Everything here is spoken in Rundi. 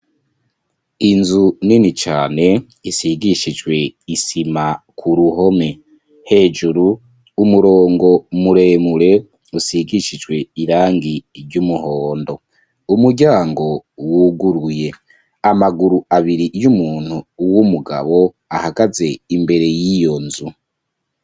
Inzu nini cane, isigishijwe isima k'uruhome, hejuru n'umurongo muremure usigishijwe irangi ry'umuhondo, umuryango wuguruye ,amaguru abiri yumuntu w'umugabo ahagaze imbere y'iyo nzu.